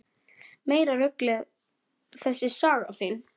Meira ruglið þessi saga þín!